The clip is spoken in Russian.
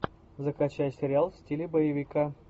закачай сериал в стиле боевика